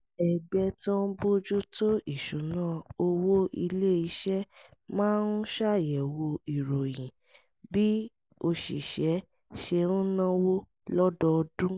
ẹgbẹ́ tó ń bójú tó ìṣúnná owó ilé iṣẹ́ máa ń ṣàyẹ̀wò ìròyìn bí òṣìṣẹ́ ṣe ń náwó lọ́dọọdún